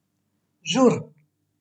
Žur.